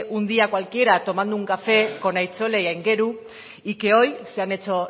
un día cualquiera tomando un café con aitzole y aingeru y que hoy se han hecho